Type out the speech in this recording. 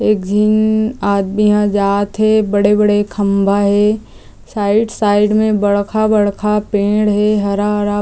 एक झीन आदमी हा जात हे बड़े-बड़े खंभा हे साइड साइड में बड़खा-बड़खा पेड़ हे हरा-हरा--